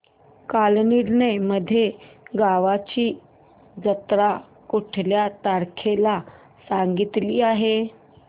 कालनिर्णय मध्ये गावाची जत्रा कुठल्या तारखेला सांगितली आहे